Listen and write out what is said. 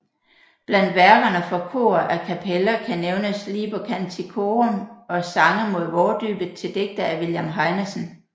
Blandt værkerne for kor a cappella kan nævnes Liber Canticorum og Sange mod vårdybet til digte af William Heinesen